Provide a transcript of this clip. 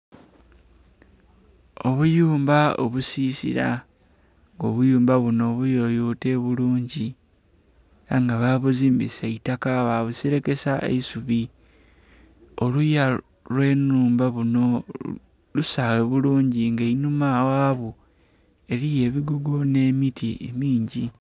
Obuyumba obusisila nga obuyumba bunho buyoyote bulungi era nga bagizimbisa itaka ba buserekesa isubi, oluya lwe nhumba bunho busaghe bulungi nga einhuma ghabwo eriyo ebigogo nhe miti emingi.